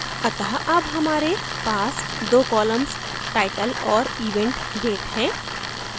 अत: अब हमारे पास 2 columnstitle और event date हैं